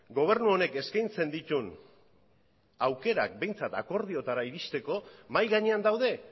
gobernu honek eskaintzen dituen aukerak behintzat akordioetara iristeko mahai gainean daude